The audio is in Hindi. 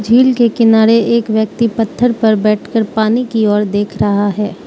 झील के किनारे एक व्यक्ति पत्थर पर बैठकर पानी की ओर देख रहा है।